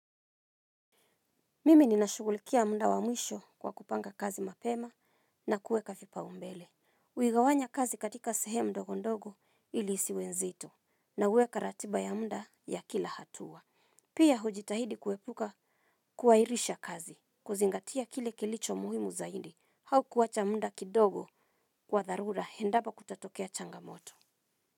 Mimi ninashughulikia muda wa mwisho kwa kupanga kazi mapema na kuweka vipaumbele. Huigawanya kazi katika sehemu ndogo ndogo ili isiwe nzito na huweka ratiba ya muda ya kila hatua. Pia hujitahidi kuepuka kuahirisha kazi kuzingatia kile kilicho muhimu zaidi au kuacha muda kidogo kwa dharura endapo kutatokea changamoto.